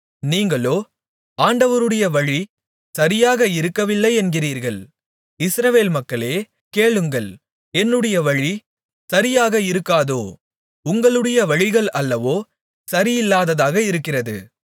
நீங்களோ ஆண்டவருடைய வழி சரியாக இருக்கவில்லை என்கிறீர்கள் இஸ்ரவேல் மக்களே கேளுங்கள் என்னுடைய வழி சரியாக இருக்காதோ உங்களுடைய வழிகள் அல்லவோ சரியில்லாததாக இருக்கிறது